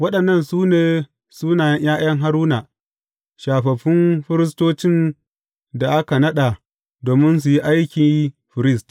Waɗannan su ne sunayen ’ya’yan Haruna, shafaffun firistocin da aka naɗa domin su yi aiki firist.